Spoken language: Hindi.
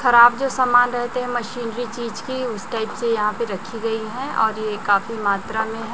खराब जो समान रहते हैं मशीनरी चीज की उसे टाइप से यहां पे रखी गई है और ये काफी मात्रा में है।